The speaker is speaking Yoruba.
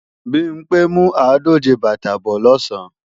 Bimpé ń mú àádòje bàtà bọ́ọ̀ lọ̀sán